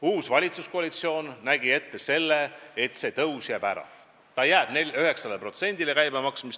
Uus valitsuskoalitsioon nägi ette, et see tõus jääb ära, see käibemaks jääb 9% peale.